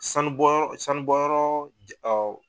Sanu bɔ yɔrɔ sanu bɔ yɔrɔ